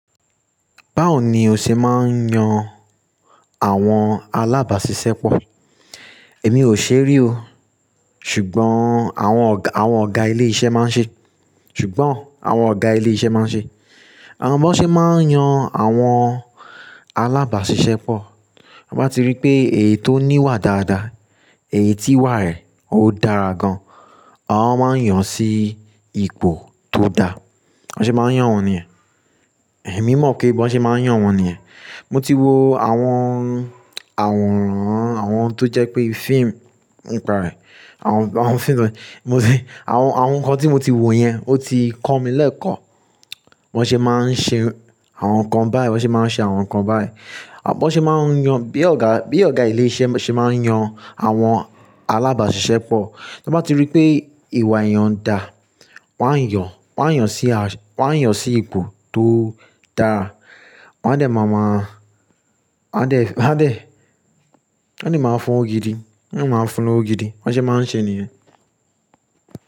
Báwo ni o ṣe máa ń yan àwọn alábàáṣiṣẹ́ pọ̀? Èmi ò ṣerí o, ṣùgbọ́n àwọn ọ̀gá ilé iṣẹ́ máa ń ṣe, ṣùgbọ́n àwọn ọ̀gá ilé iṣẹ́ máa ń ṣe. Àma bon se máa ń yan àwọn alábàáṣiṣẹ́ pọ̀. Ti won bá ti rí pé èyí tó ní ìwà dáadáa, èyí tí ìwà rẹ̀ ó dára gan, àwọn máa ń yàn sí ipò tó dá. Bi won ṣe máa ń yàn wọ́n nìyẹn. Èmi mọ̀ pé bí wọ́n ṣe máa ń yàn wọ́n nìyẹn. Mo ti wo àwọn, àwọn àwòrán, àwọn tó jẹ́ pé fíìmù, ni pa rẹ̀. Àwọn fíìmù, mo ti àwọn nǹkan tí mo ti wo yẹn, ó ti kọ́ mi lẹ́ẹ̀kọ́. Wọ́n ṣe máa ń ṣe àwọn nǹkan báyìí, wọ́n ṣe máa ń ṣe àwọn nǹkan báyìí. Bo n ṣe máa ń yàn, bí ọ̀gá ilé iṣẹ́ ṣe máa ń yàn àwọn alábàáṣiṣẹ́ pọ̀. Tan bá ti rí pé ìwà èèyàn dà, wọ́n á yàn, wọ́n á yàn sí ipò tó dára. Wọ́n á dẹ̀ máa máa, wọ́n á dẹ̀, wọ́n á dẹ̀, wọ́n ni máa fún lowo gidi, wọ́n máa fún lowo gidi. Wọ́n ṣe máa ń ṣe nìyẹn.